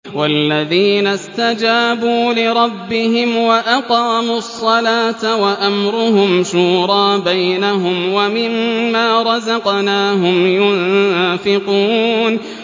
وَالَّذِينَ اسْتَجَابُوا لِرَبِّهِمْ وَأَقَامُوا الصَّلَاةَ وَأَمْرُهُمْ شُورَىٰ بَيْنَهُمْ وَمِمَّا رَزَقْنَاهُمْ يُنفِقُونَ